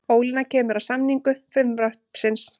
Ólína kemur að samningu frumvarpsins